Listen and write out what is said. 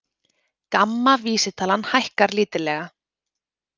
GAMMA vísitalan hækkar lítillega